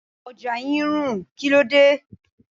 Ọjà yí ń rùn, kíló dé?